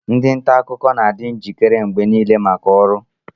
ndị nta akụkọ na-adị njikere mgbe niile maka ọrụ